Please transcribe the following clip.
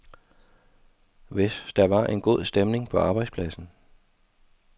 Hvis der var en god stemning på arbejdspladsen.